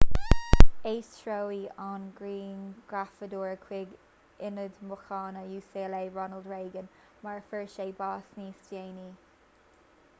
aistríodh an grianghrafadóir chuig ionad míochaine ucla ronald reagan mar a fuair sé bás níos déanaí